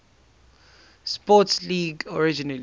sports league originally